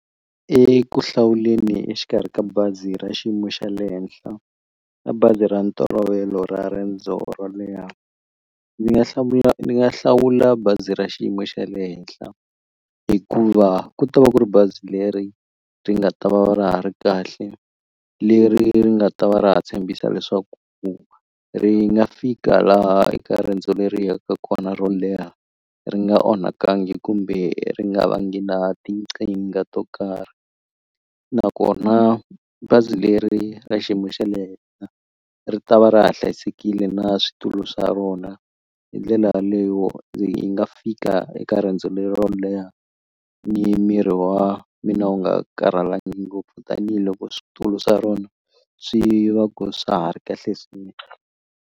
E ku hlawuleni exikarhi ka bazi ra xiyimo xa le henhla na bazi ra ntolovelo ra riendzo ro leha ndzi nga hlawula ni nga hlawula bazi ra xiyimo xa le henhla hikuva ku ta va ku ri bazi leri ri nga ta va ra ha ri kahle leri nga ta va ra ha tshembisa leswaku ku ri nga fika laha eka riendzo leri yaka kona ro leha ri nga onhakangi kumbe ri nga va ngi na to karhi nakona bazi leri ra xiyimo xa le henhla ri ta va ra ha hlayisekile na switulu swa rona hi ndlela yaleyo ndzi yi nga fika eka riendzo lero leha ni miri wa mina wu nga karhalangi ngopfu tanihiloko switulu swa rona swi va ku swa ha ri kahle swinene.